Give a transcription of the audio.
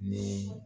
Ni